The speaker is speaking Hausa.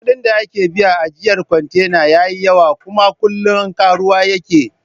Kuɗin da ake biya na ajjiyar kwantena yayi yawa, kuma kullin karuwa yake